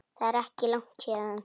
Það er ekki langt héðan.